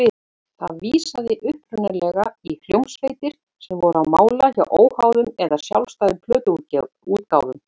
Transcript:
Það vísaði upprunalega í hljómsveitir sem voru á mála hjá óháðum eða sjálfstæðum plötuútgáfum.